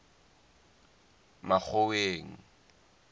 makgoweng